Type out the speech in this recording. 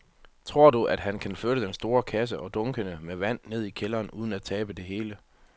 Tror du, at han kan flytte den store kasse og dunkene med vand ned i kælderen uden at tabe det hele?